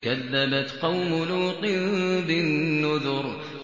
كَذَّبَتْ قَوْمُ لُوطٍ بِالنُّذُرِ